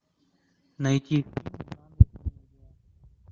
найти